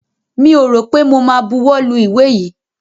Mi ò rọ̀ pé mo ma buwọ́ lu ìwé yìí.